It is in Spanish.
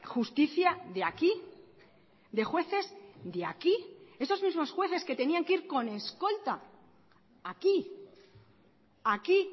justicia de aquí de jueces de aquí esos mismos jueces que tenían que ir con escolta aquí aquí